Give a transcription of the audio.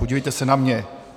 Podívejte se na mě!